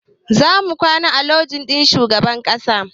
Za mu kwana a lojin shugaban ƙasa